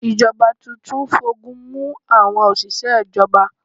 Ìjọba tuntun ń fogun mú àwọn òṣìṣẹ́ ìjọba.